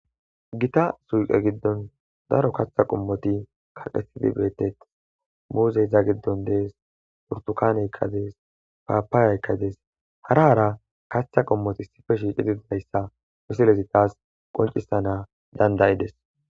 gita suuqe giddon daro kaththa qommoti kaqetidi beeteth muuzeyza giddon dees purtukaneykkadees paapaayaykkades haraara kaththa qommoti issife shiicididayssa misilezi taas qoncisana dandayides